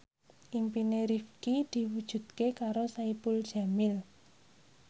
impine Rifqi diwujudke karo Saipul Jamil